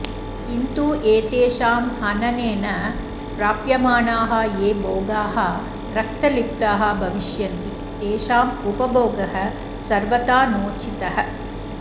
किन्तु एतेषां हननेन प्राप्यमाणाः ये भोगाः रक्तलिप्ताः भविष्यन्ति तेषाम् उपभोगः सर्वथा नोचितः